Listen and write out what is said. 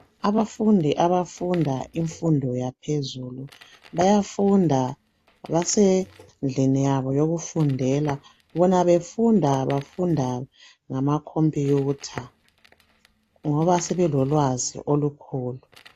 Abafundi abafunda imfundo yaphezulu bayafunda basendlini yabo yokufundela bona bafunda befunda ngama computer ngoba sebelolwazi olukhulu.